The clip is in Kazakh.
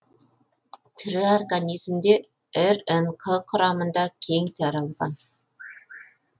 тірі организмде рнқ құрамында кең таралған